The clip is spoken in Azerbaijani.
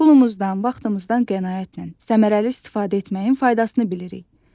Pulumuzdan, vaxtımızdan qənaətlə, səmərəli istifadə etməyin faydasını bilirik.